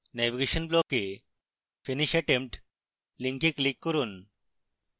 navigation block এ finish attempt link click করুন